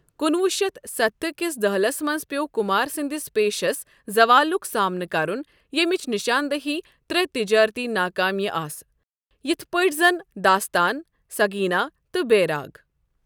کُنہوُہ شیٚتھ ستتھ کِس دہلِس منٛز پیٚو کُمار سنٛدِس پیٚشس زَوالُک سامنہٕ کرُن یٔمِچ نشان دہی ترٛےٚ تجارتی ناکٲمیہِ آسہٕ، یِتھہٕ پٲٹھۍ زَن 'داستان'، 'سگینا' تہٕ 'بیراگ'۔